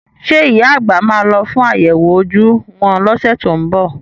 Ṣé ìyá àgbà máa lọ fún àyẹ̀wò ojú wọn lọ́sẹ̀ tó ń bọ̀?